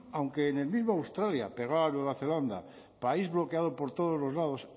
aunque en el mismo australia pegado a nueva zelanda país bloqueado por todos los lados